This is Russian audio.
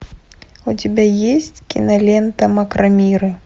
у тебя есть кинолента макромиры